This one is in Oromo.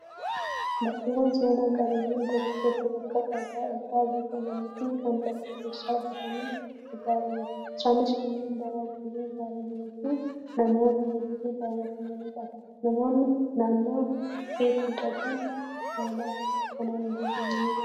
Bakkeewwan seenaa qabeeyyiin tokko tokko bakka dhagaa irraa bocamanii fi kan lafa keessaa bahuun ijaaramu. Isaanis kanneen bara durii ijaaramanii fi namoota hedduu daawwatamanidha. Naannoo keetti dhagaan haala kanaan bocame ni jiraa?